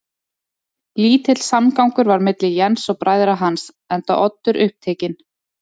Lítill samgangur var milli Jens og bræðra hans, enda Oddur upptekinn